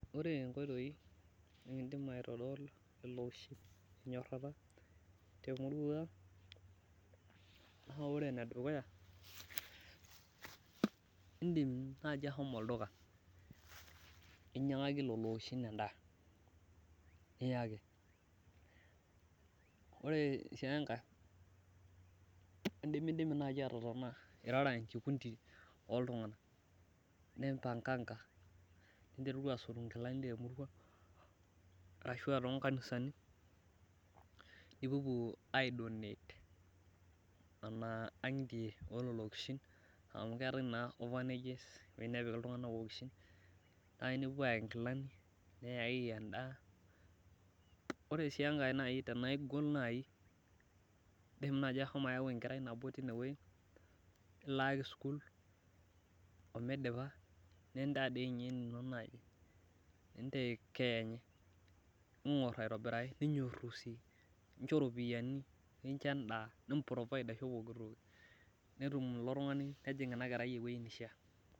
ore inkotoi nikidim naa ore enedukuya idim naaji ahomo olduka ninyangaki lelo okishin edaa niyaki ore sii enkae, idimidimi naaji nipanganga niteruru asotu inkilani temurua ashu too inkanisani, nipupuo aidonate nena ang'itie oo ilokishin nai nipopuo ayaki inkilani, neyaki edaa, ore sii engae tenaa igol naaji, idim naaji ashomo ayau enkerai nabo nilaaki sukuul amidipa nindaa dii ninye enino nejing' ina klerai eweji nishaa.